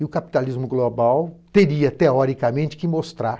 E o capitalismo global teria, teoricamente, que mostrar